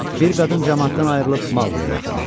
Bir qadın camaatdan ayrılıb Mauqliyə yaxınlaşdı.